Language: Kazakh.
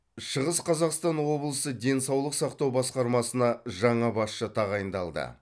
шығыс қазақстан облысы денсаулық сақтау басқармасына жаңа басшы тағайындалды